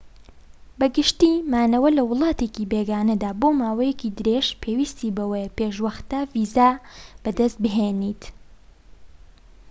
بە گشتی مانەوە لە وڵاتێکی بێگانەدا بۆ ماوەیەکی درێژ پێویستی بەوەیە پێش وەختە ڤیزا بەدەست بێنیت